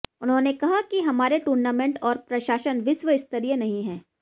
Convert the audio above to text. उन्होंने कहा कि हमारे टूर्नामेंट और प्रशासन विश्व स्तरीय नहीं है